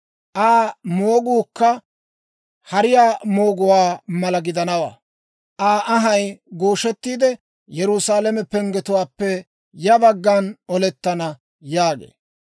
Aa mooguukka hariyaa mooguwaa mala gidanawaa. Aa anhay gooshettiide, Yerusaalame penggetuwaappe ya baggan olettana» yaagee.